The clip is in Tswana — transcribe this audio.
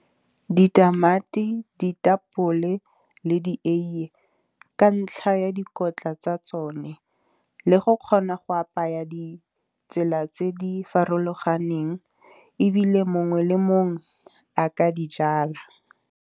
Ditamati ditapole le dieiye, ka ntlha ya dikotla tsa tsone. Le go kgona go apaya ditsela tse di farologaneng, ebile mongwe le mongwe a ka dijala.